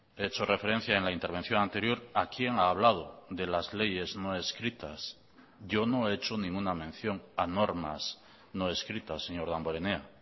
he hecho referencia en la intervención anterior a quién ha hablado de las leyes no escritas yo no he hecho ninguna mención a normas no escritas señor damborenea